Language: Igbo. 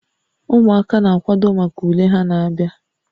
Ụmụaka na-akwado maka ule ha na-abịa